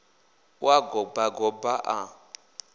u a goba goba ḽa